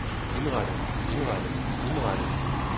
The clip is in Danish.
indrettet indrettet indrettet